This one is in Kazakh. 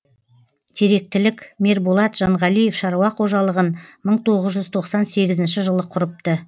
теректілік мерболат жанғалиев шаруа қожалығын мың тоғыз жүз тоқсан сегізінші жылы құрыпты